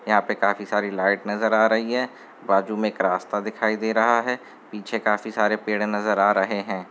यहाँ पे काफी सारी लाइट नजर आ रही है। बाजू में एक रास्ता दिखाई दे रहा है। पीछे काफी सारे पेड़े नजर आ रहे हैं।